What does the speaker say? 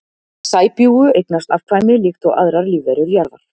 Sæbjúgu eignast afkvæmi líkt og aðrar lífverur jarðar.